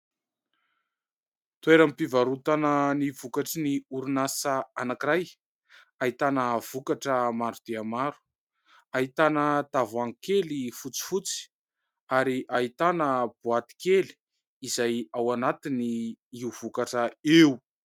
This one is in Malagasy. Toeram-pivarotana ny vokatry ny orinasa anankiray ahitana vokatra maro dia maro. Ahitana tavoahangy kely fotsifotsy ary ahitana boaty kely izay ao anatiny io vokatra io.